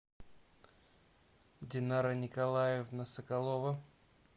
динара николаевна соколова